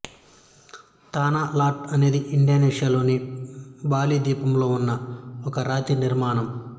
తానా Lot అనేది ఇండోనేషియాలోని Bali ద్వీపంలో ఉన్న ఒక రాతి నిర్మాణం